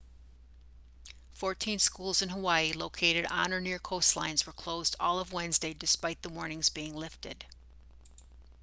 fourteen schools in hawaii located on or near coastlines were closed all of wednesday despite the warnings being lifted